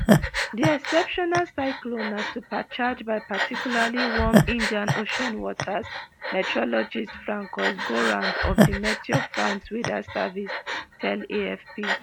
di exceptional cyclone na supercharged by particularly warm indian ocean waters meteorologist francois gourand of di meteo france weather service tell afp